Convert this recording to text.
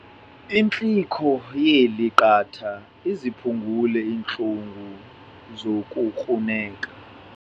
Intlikihlo yeli qatha iziphungule iintlungu zokukruneka.